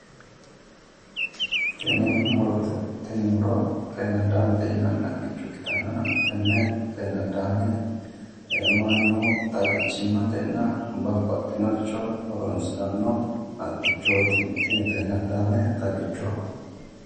Tini murote tini muro xeenaddaamete yinanni haqichooti tenne xeenaddaame mannu babbaxino xibbira horonsiranno xagichoho